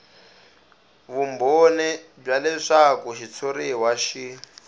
vumbhoni bya leswaku xitshuriwa xi